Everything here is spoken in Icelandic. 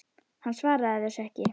Hann svaraði þessu ekki.